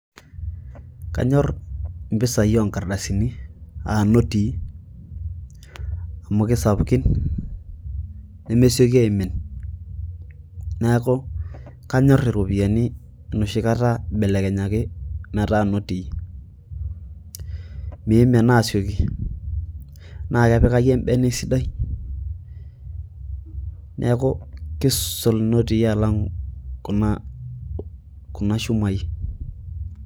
kanyorr impisai onkardasini aa notii amu kisapukin nemesioki aimin neeku kanyorr iropiyiani enoshi kata ibelekenyaki metaa inotii miimin aasioki naa kepikai embene esidai neeku kiisul inotii alang kuna shumai.